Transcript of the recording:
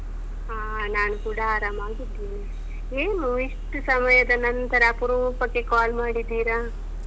ಹ ನಾನು ಕೂಡಾ ಆರಾಮಾಗಿದ್ದೀನಿ. ಏನು ಎಷ್ಟು ಸಮಯದ ನಂತರ ಅಪರೂಪಕ್ಕೆ ಕಾಲ್ ಮಾಡಿದಿರಾ?